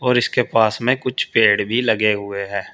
और इसके पास में कुछ पेड़ भी लगे हुए हैं।